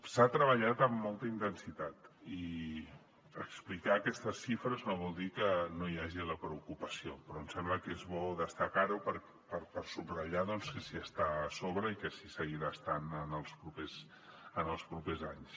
s’ha treballat amb molta intensitat i explicar aquestes xifres no vol dir que no hi hagi la preocupació però em sembla que és bo destacar ho per subratllar doncs que s’hi està a sobre i que s’hi seguirà estant en els propers anys